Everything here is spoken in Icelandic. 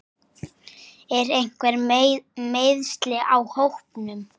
Eru einhver meiðsli á hópnum?